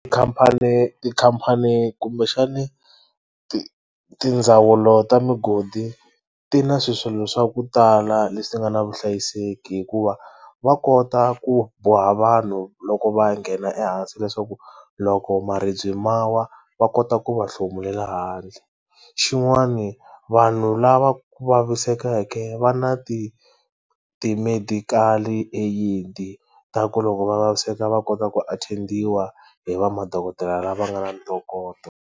Khampani tikhampani kumbexani ti tindzawulo ta migodi ti na swilo swa ku tala leswi nga na vuhlayiseki hikuva va kota ku boha vanhu loko va nghena ehansi leswaku loko maribye ma wa va kota ku va hlomulela handle xin'wani vanhu lava vavisekaka va na ti ti-medical aid ta ku loko va vaviseka va kota ku attend-iwa hi va madokodela lava nga na ntokoto.